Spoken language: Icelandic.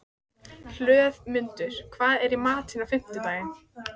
Hlöðmundur, hvað er í matinn á fimmtudaginn?